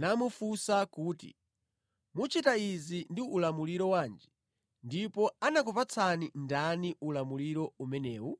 namufunsa kuti, “Muchita izi ndi ulamuliro wanji ndipo anakupatsani ndani ulamuliro umenewu?”